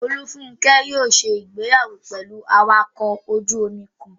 Olúfúnkẹ́ yóò ṣe ìgbéyàwó pẹ̀lú awakọ̀ ojú-omi kan